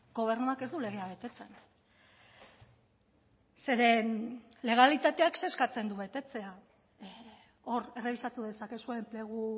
gobernuak ez du legea betetzen zeren legalitateak zer eskatzen du betetzea hor errebisatu dezakezue enplegu